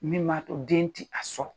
Min ma to den ti a sɔrɔ.